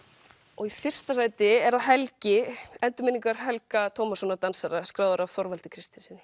og í fyrsta sæti er það Helgi endurminningar Helga Tómassonar dansara skráðar af Þorvaldi Kristinssyni